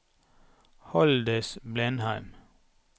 Haldis Blindheim